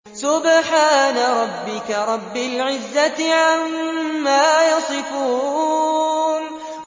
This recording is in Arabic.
سُبْحَانَ رَبِّكَ رَبِّ الْعِزَّةِ عَمَّا يَصِفُونَ